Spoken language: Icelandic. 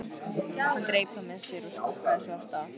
Hann greip það með sér og skokkaði svo af stað.